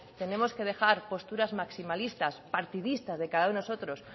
tenemos que dejar posturas maximalistas partidistas de cada uno de nosotros